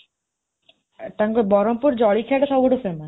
ଆଁ ତାଙ୍କ ବରହମପୁର ଜଳଖିଆଟା ସବୁଠୁ famous